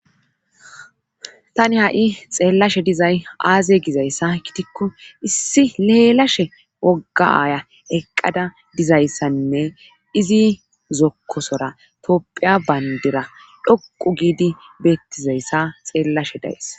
tani ha7i xeellashe dizay aaze gizayssa kitikko issi leelashe woggaya eqqada dizayssanne izi zokkosora topphiya bayndira dhoqu giidi beettizayssa xeellashe dayes